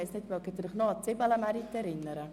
Erinnern Sie sich noch an den «Zibelemärit»?